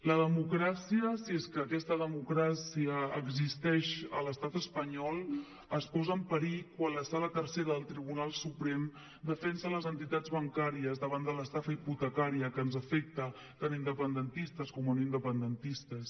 la democràcia si és que aquesta democràcia existeix a l’estat espanyol es posa en perill quan la sala tercera del tribunal suprem defensa les entitats bancàries davant de l’estafa hipotecària que ens afecta tant a independentistes com a no independentistes